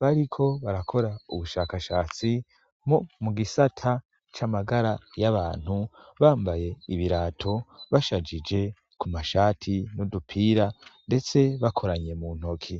bariko barakora ubushakashatsi, bo mu gisata c'amagara y'abantu bambaye ibirato bashagije ku mashati n'udupira, ndetse bakoranye mu ntoki.